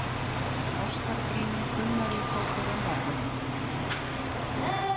Ástarbríminn kulnaði þó fyrr en varði.